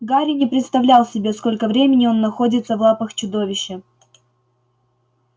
гарри не представлял себе сколько времени он находится в лапах чудовища